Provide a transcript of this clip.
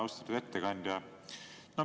Austatud ettekandja!